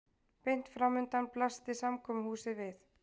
Beint framundan blasti samkomuhúsið við.